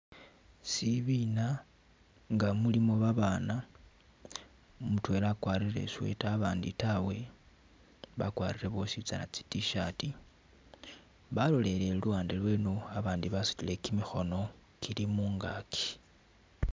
Sibiina nga mulimo babana, mutwela akwarire i'sweater abandi tawe, bakwarire bosi tsana tsi t-shirt, balolelele luwande lweno abandi basutile kimikhono kili mungaaki